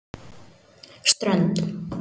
Strönd